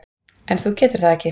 En þú getur það ekki.